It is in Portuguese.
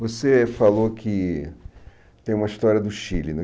Você falou que tem uma história do Chile, né?